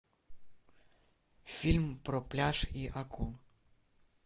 фильм про пляж и акул